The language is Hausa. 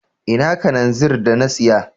Ina Kananzir da na siya.